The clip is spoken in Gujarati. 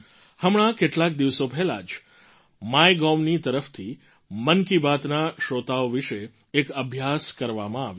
હમણાં કેટલાક દિવસો પહેલાં જ MyGovની તરફથી મન કી બાતના શ્રોતાઓ વિશે એક અભ્યાસ કરવામાં આવ્યો હતો